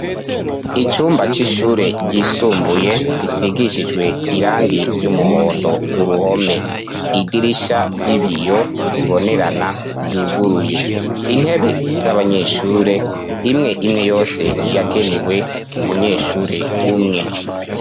Icumba c'ishure ryisumbuye risigishijwe irangi ry'umuhondo kuruhome idirisha ry'ibiyo bibonerana ryuguruye intebe z'abanyeshure imwe imwe yose yagenewe umunyeshure umwe.